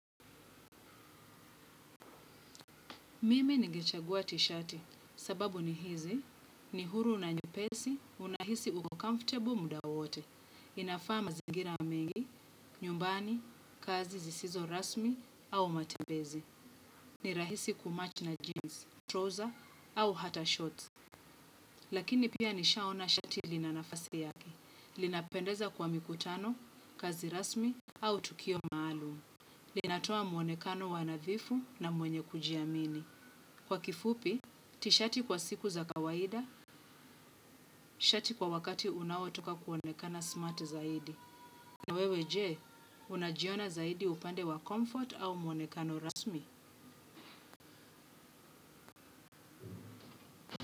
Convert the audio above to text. Mimi ningechagua tisheti kwa sababu ni huru na nyepesi, unahisi uko comfortable muda wote. Inafaa mazingira mengi: nyumbani, kazi zisizo rasmi au matembezi. Ni rahisi kumatch na jeans, trouser au hata shorts. Lakini pia nishaona shati linanafasi yake. Linapendeza kwa mikutano, kazi rasmi au tukio maalum. Linatoa mwonekano wanadhifu na mwenye kujiamini. Kwa kifupi, tishati kwa siku za kawaida, shati kwa wakati unaotaka kuonekana smart zaidi. Na wewe je, unajiona zaidi upande wa comfort au muonekano rasmi?